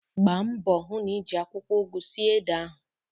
Gbambo hu n'iji akwukwo ugu sie ede ahu